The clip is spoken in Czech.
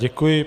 Děkuji.